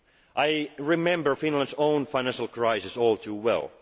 they feel. I remember Finland's own financial crisis